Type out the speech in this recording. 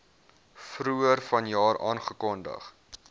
vroeër vanjaar aangekondig